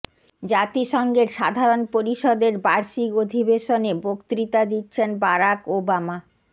জাতিসংঘের সাধারণ পরিষদের বার্ষিক অধিবেশনে বক্তৃতা দিচ্ছেন বারাক ওবামা